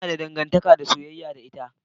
Ina da dangantaka ta soyayya da ita.